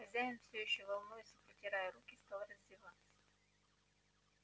хозяин всё ещё волнуясь и потирая руки стал раздеваться